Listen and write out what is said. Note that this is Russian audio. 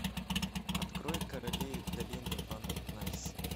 открой короли долины ван найс